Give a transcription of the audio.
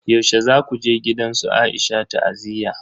Yaushe zaku je gidan su Aisha ta'aziyya?